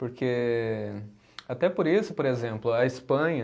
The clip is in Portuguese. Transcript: Porque, até por isso, por exemplo, a Espanha